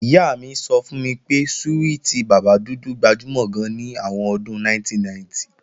Ìyá mi sọ fún mi pé súwìtì bàbá dúdú gbajúmọ̀ gan ní àwọn ọdún 1990